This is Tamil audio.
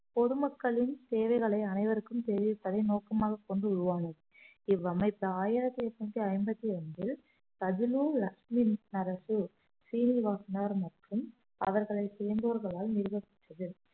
பொதுமக்களின் தேவைகளை அனைவருக்கும் தெரிவிப்பதை நோக்கமாகக் கொண்டு உருவானது இவ்வமைப்பு ஆயிரத்தி எட்நூத்தி ஐம்பத்தி ஒன்றில் பதினு லக்ஷ்மினரசு சீனிவாசனார் மற்றும் அவர்களை சேர்ந்தோர்களால் நிறுவப்பட்டது